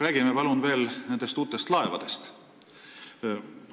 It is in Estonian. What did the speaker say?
Peaminister, palun räägime veel nendest uutest laevadest!